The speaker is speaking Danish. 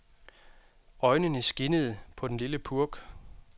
Øjnene skinnede på den lille purk.